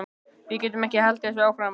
Við getum ekki haldið þessu áfram.